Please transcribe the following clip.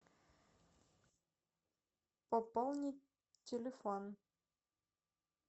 пополнить телефон